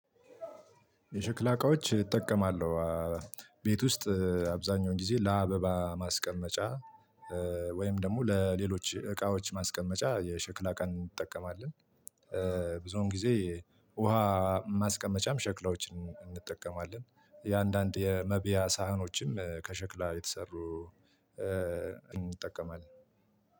የሽክላ እቃዎች እጠቀማለሁ ቤት ውስጥ አብዛኛውን ጊዜ ለአበባ ማስቀመጫ። ወይም ደግሞ ለሌሎች እቃዎች ማስቀመጫ የሸክላ እቃ እንጠቀማለን። ብዙውን ጊዜ ውሃ ማስቀመጫም ሸክላዎችን እንጠቀማለን የአንዳንድ የመብያ ሳህኖችም ከሸክላ የተሰሩ። እንጠቀማለን።